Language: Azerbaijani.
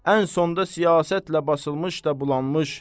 Ən sonda siyasətlə basılmış da bulanmış.